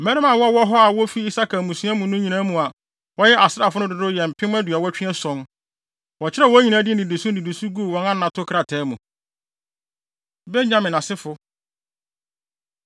Mmarima a na wɔwɔ hɔ a wofi Isakar mmusua no nyinaa mu a wɔyɛ asraafo no dodow yɛ mpem aduɔwɔtwe ason (87,000). Wɔkyerɛw wɔn nyinaa din nnidiso nnidiso guu wɔn anato krataa mu. Benyamin Asefo